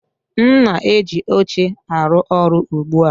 M na-eji oche arụ ọrụ ugbu a